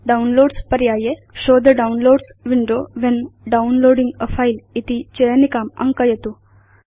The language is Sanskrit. डाउनलोड्स पर्याये show the downloads window when downloading a file इति चयनिकाम् अङ्कयतु